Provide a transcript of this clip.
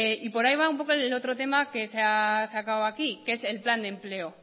y por ahí va un poco el otro tema que se ha sacado aquí que es el plan de empleo